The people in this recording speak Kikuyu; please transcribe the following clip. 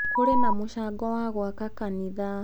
Kũrĩ na mũcango wa gwaka kanitha.